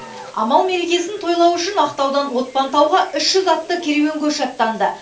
амал мерекесін тойлау үшін ақтаудан отпантауға үш жүз атты керуен көші аттанды